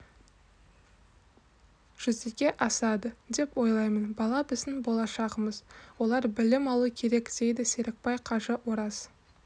жүзеге асады деп ойлаймын бала біздің болашағымыз олар білім алу керек дейді серікбай қажы ораз